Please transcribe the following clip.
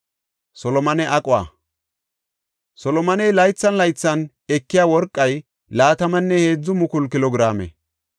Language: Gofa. Solomoney laythan laythan ekiya worqay laatamanne heedzu mukulu kilo giraame.